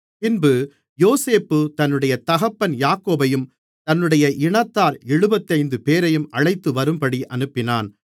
பின்பு யோசேப்பு தன்னுடைய தகப்பன் யாக்கோபையும் தன்னுடைய இனத்தார் எழுபத்தைந்துபேரையும் அழைத்துவரும்படி அனுப்பினான்